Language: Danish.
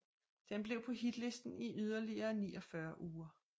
Den blev på hitlisten i yderligere 49 uger